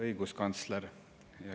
Õiguskantsler!